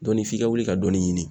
Dɔnni f'i ka wuli ka dɔɔni ɲini.